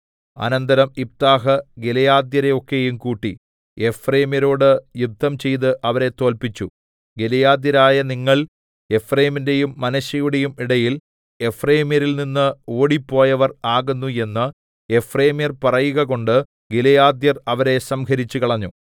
അനന്തരം യിഫ്താഹ് ഗിലെയാദ്യരെ ഒക്കെയും കൂട്ടി എഫ്രയീമ്യരോട് യുദ്ധം ചെയ്ത് അവരെ തോല്പിച്ചു ഗിലെയാദ്യരായ നിങ്ങൾ എഫ്രയീമിന്റെയും മനശ്ശെയുടെയും ഇടയിൽ എഫ്രയീമ്യരിൽ നിന്ന് ഓടിപ്പോയവർ ആകുന്നു എന്ന് എഫ്രയീമ്യർ പറയുകകൊണ്ട് ഗിലെയാദ്യർ അവരെ സംഹരിച്ചുകളഞ്ഞു